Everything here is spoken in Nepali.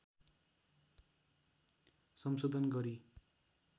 संशोधन गरी